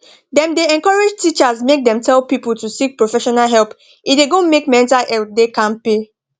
dem dey encourage teachers make dem tell people to seek professional help e da go make mental health da kampe